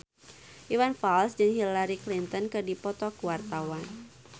Iwan Fals jeung Hillary Clinton keur dipoto ku wartawan